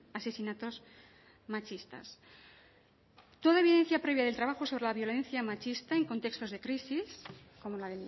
asesinatos machistas toda evidencia previa del trabajo sobre la violencia machista en contextos de crisis como la